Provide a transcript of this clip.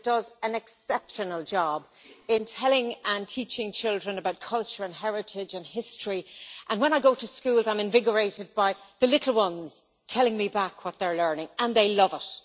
It does an exceptional job in telling and teaching children about culture, heritage and history, and when I go into schools I am invigorated by the little ones telling me back what they are learning, and they love it.